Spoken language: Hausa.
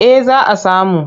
Eh za a samu.